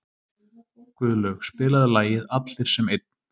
Guðlaug, spilaðu lagið „Allir sem einn“.